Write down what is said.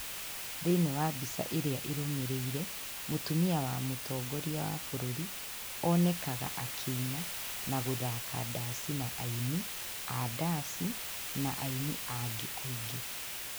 Thĩinĩ wa mbica ĩrĩa ĩrũmĩrĩire, mũtumia wa mũtongoria wa bũrũri, onekaga akĩina, na gũthaka ndaaci na aini ya ndaaci na aini angi aingĩ.